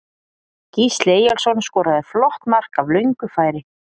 Gísli Eyjólfsson skoraði flott mark af löngu færi.